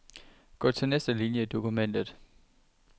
Gå til næste linie i dokumentet.